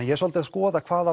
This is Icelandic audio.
ég er svolítið að skoða hvað